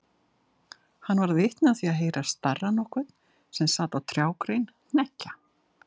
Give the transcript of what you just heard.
Hann varð vitni af því að heyra starra nokkurn sem sat á trjágrein hneggja.